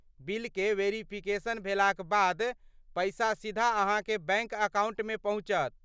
बिलकेँ वेरीफिकेशन भेलाक बाद, पैसा सीधा अहाँके बैंक अकाउंटमे पहुँचत।